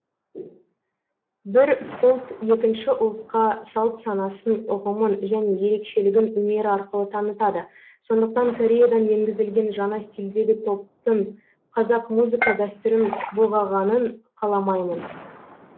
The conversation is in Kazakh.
бір ұлт екінші ұлтқа салт санасын ұғымын және ерекшелігін өнер арқылы танытады сондықтан кореядан енгізілген жаңа стилдегі топтың қазақ музыка дәстүрін бұлғағанын қаламаймын